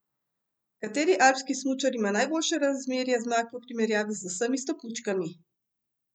Kateri alpski smučar ima najboljše razmerje zmag v primerjavi z vsemi stopničkami?